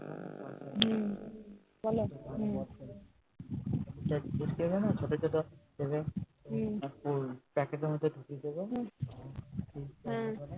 হু